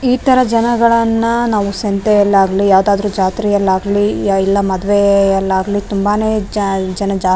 ಈ ತರ ಜನಗಳನ್ನ ನಾವು ಸಂತೆಯಲ್ಲಾಗ್ಲಿ ಯಾವುದಾದ್ರು ಜಾತ್ರೆಯಲ್ಲಾಗ್ಲಿ ಎಲ್ಲ ಮದುವೆಯಲ್ಲಾಗ್ಲಿ ತುಂಬಾನೆ ಜ ಜನ ಜಾ --